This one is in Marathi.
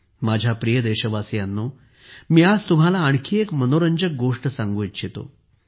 माझ्या प्रिय देशवासियांनोमी आज तुम्हांला आणखी एक मनोरंजक गोष्ट सांगू इच्छितो